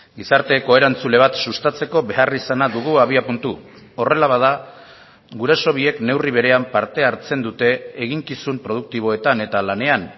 gizarte koerantzule bat sustatzeko beharrizana dugu abiapuntu horrela bada guraso biek neurri berean parte hartzen dute eginkizun produktiboetan eta lanean